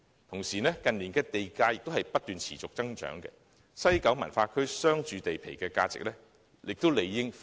同時，近年地價不斷持續增長，西九文化區商住地皮的價值理應亦已倍升。